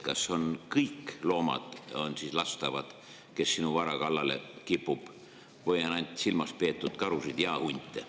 Kas kõiki loomi, kes sinu vara kallale kipuvad, siis lasta või on silmas peetud ainult karusid ja hunte?